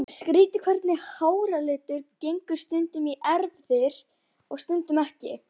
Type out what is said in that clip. Skrýtið hvernig háralitur gengur stundum í erfðir og stundum ekki.